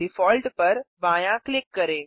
default पर बायाँ click करें